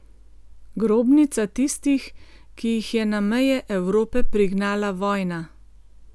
Grobnica tistih, ki jih je na meje Evrope prignala vojna.